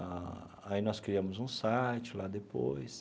Ah aí nós criamos um site lá depois.